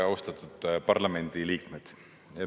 Austatud parlamendiliikmed!